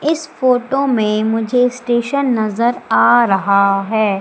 इस फोटो में मुझे स्टेशन नजर आ रहा है।